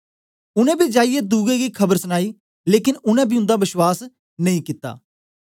उनै बी जाईयै दुए गी खबर सनाई लेकन उनै बी उन्दा बश्वास नेई कित्ता